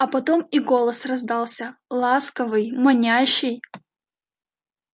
а потом и голос раздался ласковый манящий